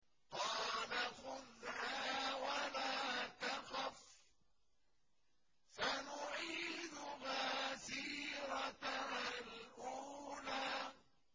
قَالَ خُذْهَا وَلَا تَخَفْ ۖ سَنُعِيدُهَا سِيرَتَهَا الْأُولَىٰ